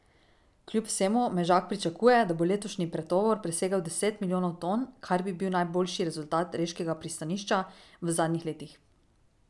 Kljub vsemu Mezak pričakuje, da bo letošnji pretovor presegel deset milijonov ton, kar bi bil najboljši rezultat reškega pristanišča v zadnjih letih.